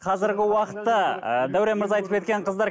қазіргі уақытта ы дәурен мырза айтып кеткен қыздар